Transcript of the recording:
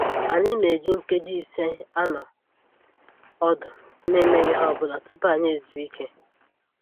Anyị na-eji nkeji ise anọ ọdụ na-emeghị ihe ọbụla tupu anyị ezuo ike